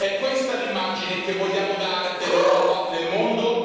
È questa l'immagine che vogliamo dare dell'Europa nel mondo?